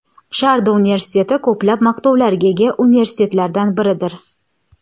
Sharda universiteti ko‘plab maqtovlarga ega universitetlardan biridir.